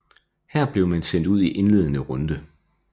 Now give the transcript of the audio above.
Her blev man sendt ud i indledende runde